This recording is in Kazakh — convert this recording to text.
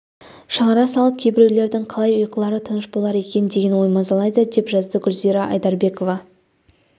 шығара салып кейбіреулердің қалай ұйқылары тыныш болар екен деген ой мазалайды деп жазды гүлзира айдарбекова